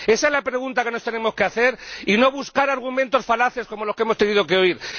Esa es la pregunta que nos tenemos que hacer y no buscar argumentos falaces, como los que hemos tenido que oír.